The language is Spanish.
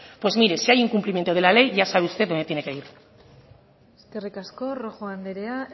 pues mire si hay incumplimiento de la ley ya sabe usted donde tiene que ir eskerrik asko rojo anderea